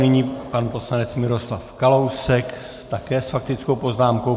Nyní pan poslanec Miroslav Kalousek také s faktickou poznámkou.